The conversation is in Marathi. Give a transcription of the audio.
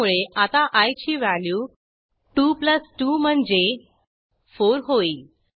त्यामुळे आता आय ची व्हॅल्यू 22 म्हणजे 4होईल